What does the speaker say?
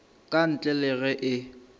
ka ntle le ge e